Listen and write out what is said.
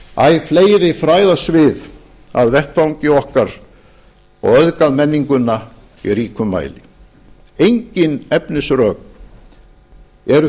gert æ fleiri fræðasvið að vettvangi okkar og auðgað menninguna í ríkum mæli engin efnisrök eru